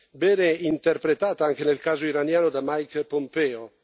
bene interpretata anche nel caso iraniano da Mike Pompeo.